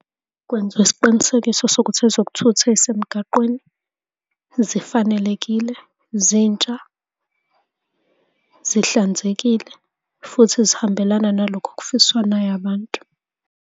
Kwenziwe isiqinisekiso sokuthi ezokuthutha ey'semgaqweni zifanelekile, zintsha, zihlanzekile, futhi zihambelana nalokhu okufiswa nayabantu.